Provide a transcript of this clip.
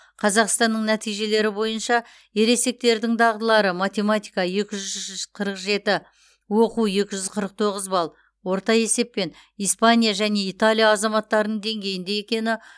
қазақстанның нәтижелері бойынша ересектердің дағдылары математика екі ж жүз қырық жеті оқу екі жүз қырық тоғыз балл орта есеппен испания және италия азаматтарының деңгейінде екені